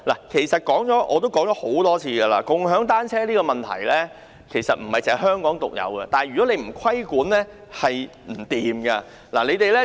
其實，我已多次表示，共享單車的問題並不是香港獨有，但政府如不規管，便不可行。